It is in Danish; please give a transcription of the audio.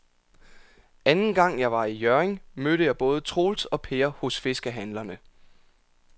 Anden gang jeg var i Hjørring, mødte jeg både Troels og Per hos fiskehandlerne.